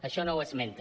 això no ho esmenta